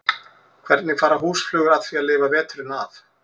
Hvernig fara húsflugur að því að lifa veturinn af?